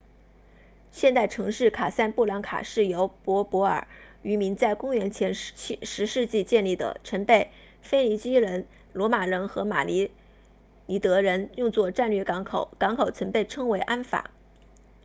现代城市卡萨布兰卡是由柏柏尔 berber 渔民在公元前10世纪建立的曾被腓尼基人罗马人和马里尼德人 merenid 用作战略港口港口曾被称为安法 anfa